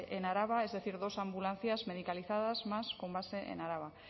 en araba es decir dos ambulancias medicalizadas más con base en araba